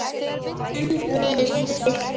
Hendist í burtu.